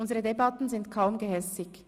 Unsere Debatten sind kaum gehässig.